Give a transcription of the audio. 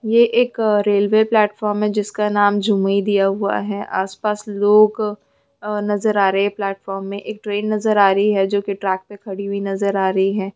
मेला वेला लगल है लाल कुर्सी है इधर पोस्टर लगल है मिकी माउस लगल हा इधर आदमी हाए